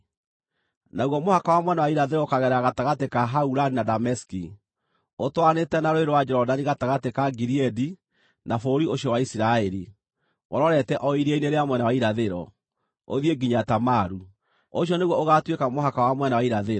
Naguo mũhaka wa mwena wa irathĩro ũkaagerera gatagatĩ ka Haurani na Dameski, ũtwaranĩte na Rũũĩ rwa Jorodani gatagatĩ ka Gileadi na bũrũri ũcio wa Isiraeli, ũrorete o iria-inĩ rĩa mwena wa irathĩro, ũthiĩ nginya Tamaru. Ũcio nĩguo ũgaatuĩka mũhaka wa mwena wa irathĩro.